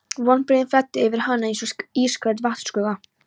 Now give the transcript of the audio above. Vonbrigðin flæddu yfir hana eins og ísköld vatnsgusa.